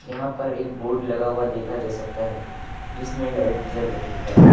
यहां पर एक बोर्ड लगा हुआ देखा जा सकता है जिसमें लाइट जल रही है।